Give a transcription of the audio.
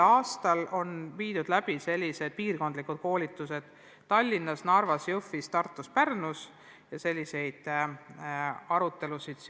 Tänavu on piirkondlikud koolitused läbi viidud Tallinnas, Narvas, Jõhvis, Tartus ja Pärnus.